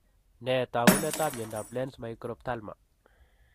Nee taakunetaab myondap Lenz microphthalma?